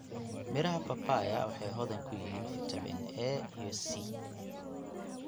Midhaha papaya waxay hodan ku yihiin fiitamiin A iyo C.